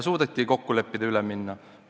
Suudeti kokku leppida ja üle minna.